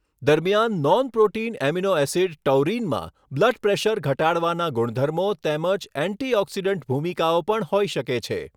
દરમિયાન nonprotein amino acid ટૌરીનમાં blood pressure ઘટાડવાના ગુણધર્મો તેમજ એન્ટીઑકિસડન્ટ ભૂમિકાઓ પણ હોઈ શકે છે.